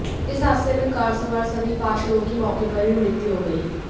इस हादसे में कार सवार सभी पांच लोगों की मौके पर ही मृत्यु हो गई